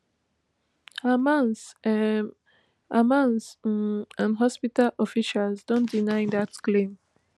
hamas um hamas um and hospital officials don deny dat claim